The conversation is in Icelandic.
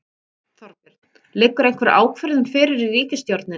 Þorbjörn: Liggur einhver ákvörðun fyrir í ríkisstjórninni?